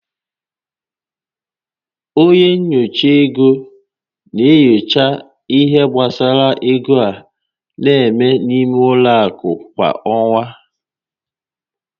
Onye nyocha ego na-enyocha ihé gbasara égo a na-eme n'ime ụlọ akụ kwa ọ́nwá